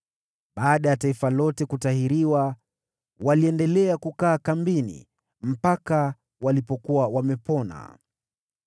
Baada ya taifa lote kutahiriwa, waliendelea kukaa kambini mpaka walipokuwa wamepona.